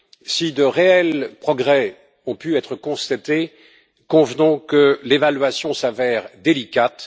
Si de réels progrès ont pu être constatés, convenons que l'évaluation s'avère délicate.